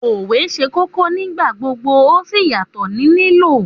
Òwe ṣe kókó nígbà gbogbo, o sì ma n yàtò ni lílò.